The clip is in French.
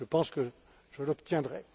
Je pense que je l'obtiendrai.